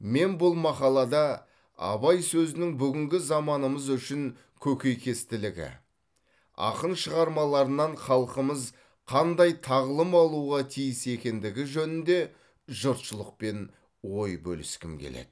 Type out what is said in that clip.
мен бұл мақалада абай сөзінің бүгінгі заманымыз үшін көкейкестілігі ақын шығармаларынан халқымыз қандай тағылым алуға тиіс екендігі жөнінде жұртшылықпен ой бөліскім келеді